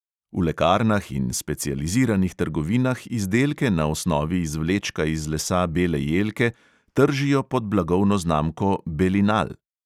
V lekarnah in specializiranih trgovinah izdelke na osnovi izvlečka iz lesa bele jelke tržijo pod blagovno znamko belinal.